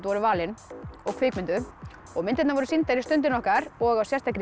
voru valin og kvikmynduð og myndirnar voru sýndar í Stundinni okkar og á sérstakri